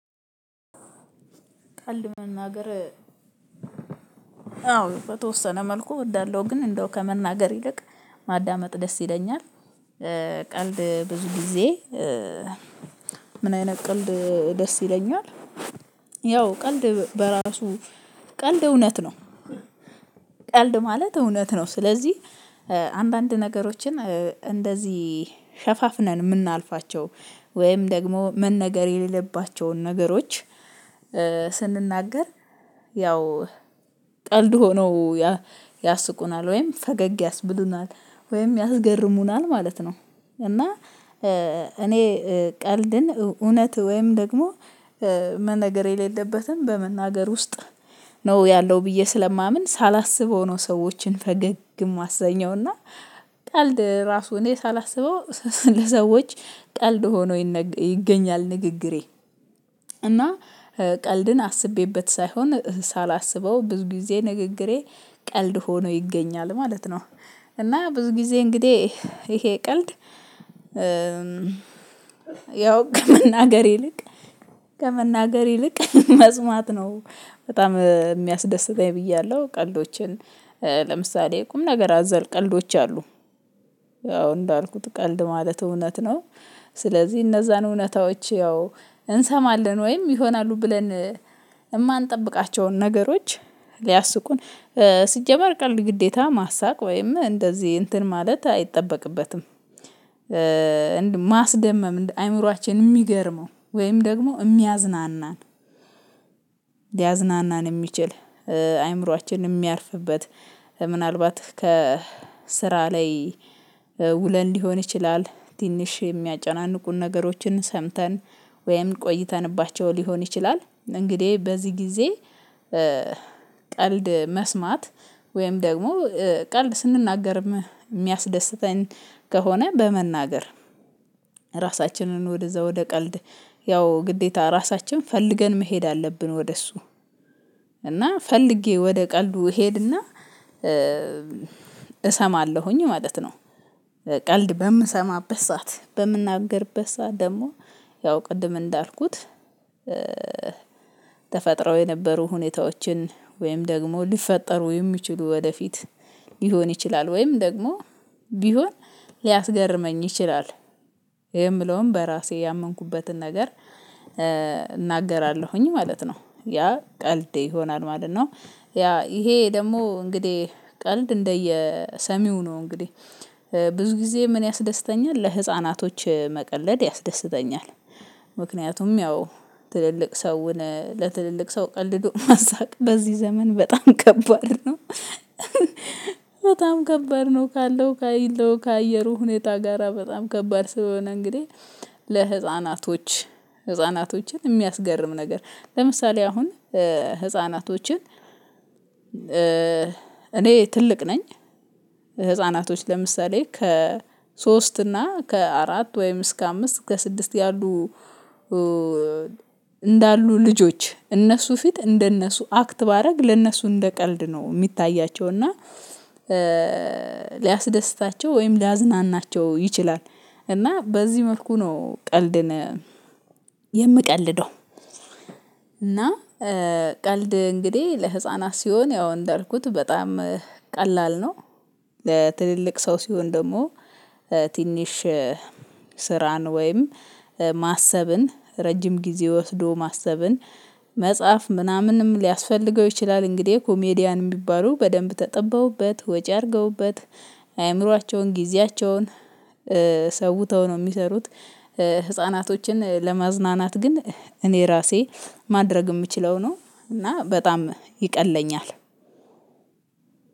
ቀልድ መናገር አዎ በተወሰነ መልኩ እወዳለሁ ግን እንደው ከመናገር ይልቅ ማዳመጥ ደስ ይለኛል። ቀልድ ብዙ ጊዜ ምን አይነት ቀልድ ደስ ይለኛል ያው ቀልድ በራሱ ቀልድ እውነት ነው ቀልድ ማለት እውነት ነው ስለዚህ አንዳንድ ነገሮችን እንደዚህ ሸፋፍነን የምናልፋቸው ወይም ደግሞ መነገር የሌለባቸውን ነገሮች ስንናገር ያው ቀልድ ሆነው ያስቁናል ወይም ፈገግ ያስብሉናል ወይም ያስገርሙናል ማለት ነው። እና እኔ ቀልድን እውነት ወይም ደግሞ መነገር የሌለበትን በመናገር ውስጥ ነው ያለው ብዬ ስለማምን ሳላስበው ነው ሰዎችን ፈገግ የማሰኘው እና ቀልድ ራሱ እኔ ሳላስበው ለሰዎች ቀልድ ሆኖ ይገኛል ንግግሬ እና ቀልድን አስቤበት ሳይሆን ሳላስበው ብዙ ጊዜ ንግግሬ ቀልድ ሆኖ ይገኛል ማለት ነው። እና ብዙ ጊዜ እንግዲህ ይሄ ቀልድ ያው ከመናገር ይልቅ ከመናገር ይልቅ መስማት ነው በጣም የሚያስደስተኝ ብያለሁ። ቀልዶችን ለምሳሌ ቁም ነገር አዘር ቀልዶች አሉ። አዎ እንዳልኩት ቀልድ ማለት እውነት ነው። ስለዚህ እነዛን እውነታዎች ያው እንሰማለን ወይም ይሆናሉ ብለን የማንጠብቃቸውን ነገሮች ሊያስቁን ሲጀመር ቀልድ ግዴታ ማሳቅ ወይም እንደዚህ እንትን ማለት አይጠበቅበትም። ማስደመም፤ አእምሮአችን የሚገርመው ወይም ደግሞ የሚያዝናናን ሊያዝናናን የሚችል አእምሮአችን የሚያርፍበት ምናልባት ከስራ ላይ ውለን ሊሆን ይችላል ትንሽ የሚያጨናንቁን ነገሮችን ሰምተን ወይም ቆይተንባቸው ሊሆን ይችላል። እንግዲህ በዚህ ጊዜ ቀልድ መስማት ወይም ደግሞ ቀልድ ስንናገርም የሚያስደስተን ከሆነ በመናገር ራሳችንን ወደዛ ወደ ቀልድ ያው ግዴታ ራሳችን ፈልገን መሄድ አለብን ወደ እሱ እና ፈልጌ ወደ ቀልዱ እሄድና እሰማለሁኝ ማለት ነው። ቀልድ በምሰማበት ሰዓት በምናገርበት ሰዓት ደግሞ ያው ቅድም እንዳልኩት ተፈጥረው የነበሩ ሁኔታዎችን ወይም ደግሞ ሊፈጠሩ የሚችሉ ወደፊት ሊሆን ይችላል ወይም ደግሞ ቢሆን ሊያስገርመኝ ይችላል የምለውን በራሴ ያመንኩበትን ነገር እናገራለሁኝ ማለት ነው። ያ ቀልዴ ይሆናል ማለት ነው ያ ይሄ ደግሞ እንግዲህ ቀልድ እንደየሰሚው ነው። እንግዲህ ብዙ ጊዜ ምን ያስደስተኛል ለህፃናቶች መቀለድ ያስደስተኛል። ምክንያቱም ያው ትልልቅ ሰውን ለትልልቅ ሰው ቀልዶ ማሳቅ በዚህ ዘመን በጣም ከባድ ነው። በጣም ከባድ ነው ካለው ካለው ከአየሩ ሁኔታ ጋራ በጣም ከባድ ስለሆነ እንግዲህ ለህፃናቶች ህፃናቶችን የሚያስገርም ነገር ለምሳሌ አሁን ህፃናቶችን እኔ ትልቅ ነኝ ህፃናቶች ለምሳሌ ከሶስት እና ከአራት ወይም እስከ አምስት እስከ ስድስት ያሉ እንዳሉ ልጆች እነሱ ፊት እንደነሱ አክት ባደረግ ለነሱ እንደ ቀልድ ነው የሚታያቸው እና ሊያስደስታቸው ወይም ሊያዝናናቸው ይችላል። እና በዚህ መልኩ ነው ቀልድን የምቀልደው እና ቀልድ እንግዲህ ለህፃናት ሲሆን ያው እንዳልኩት በጣም ቀላል ነው። ለትልልቅ ሰው ሲሆን ደግሞ ትንሽ ስራን ወይም ማሰብን ረጅም ጊዜ ወስዶ ማሰብን መጻፍ ምናምንም ሊያስፈልገው ይችላል። እንግዲህ ኮሜዲያን የሚባሉ በደንብ ተጠበውበት፤ ወጪ አድርገውበት፤ አእምሯቸውን፣ ጊዜያቸውን ሰውተው ነው የሚሰሩት። ህፃናቶችን ለማዝናናት ግን እኔ ራሴ ማድረግ የምችለው ነው እና በጣም ይቀለኛል።